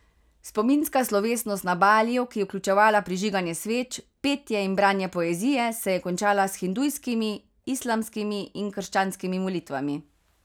Spominska slovesnost na Baliju, ki je vključevala prižiganje sveč, petje in branje poezije, se je končala s hindujskimi, islamskimi in krčanskimi molitvami.